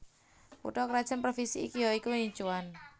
Kutha krajan Provinsi iki ya iku Yinchuan